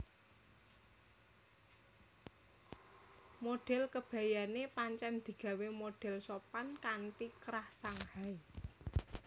Modhel kebayané pancen digawé modhel sopan kanthi krah Shanghai